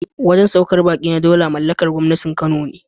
Wajen saukar baƙi na Daula mallakar gwangwanin Kano ne.